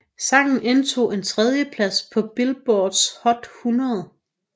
Sangen indtog en tredjeplads på Billboards Hot 100